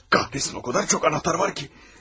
Allah kahretsin, o qədər çox anahtar var ki!